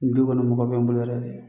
Bi kɔni mɔgɔ bɛ n bolo yɛrɛ de